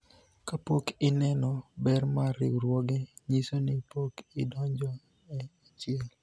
kapok ineno ber mar riwruoge ,nyiso ni pok idonjo e achiel